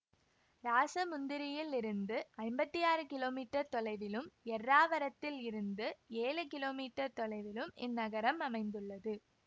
ராசமுந்திரியில் இருந்து ஐம்பத்தி ஆறு கிலோமீட்டர் தொலைவிலும் ஏர்ராவரத்தில் இருந்து ஏழு கிலோமீட்டர் தொலைவிலும் இந்நகரம் அமைந்துள்ளது